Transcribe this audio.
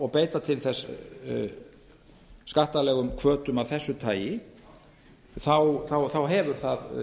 og beita til þess skattalegum hvötum af þessu tagi hefur það